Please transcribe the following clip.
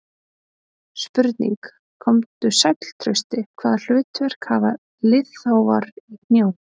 Spurning: Komdu sæll Trausti, Hvaða hlutverk hafa liðþófar í hnjám?